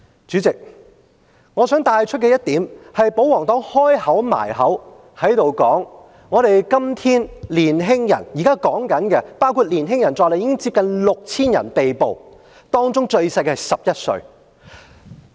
主席，我想帶出一點是，保皇黨不斷強調今天的年輕人，現在包括年輕人在內，接近 6,000 人被捕，當中年紀最小的只有11歲。